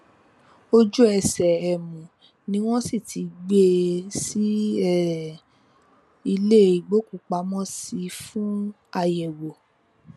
ojúẹsẹ um ni wọn sì ti gbé e sí um ilé ìgbókùúpamọ sí fún àyẹwò